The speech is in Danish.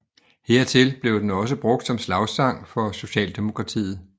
Hertil bliver den også brugt som slagsang i Socialdemokratiet